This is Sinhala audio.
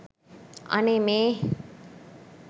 අනේ මේ